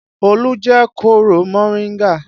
Olu jẹ kóro moringa